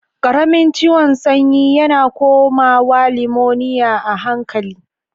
Karamin ciwon sanyi yana. komawa limoniya a hankali.